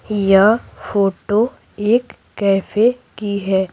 यह फोटो एक कैफे की है।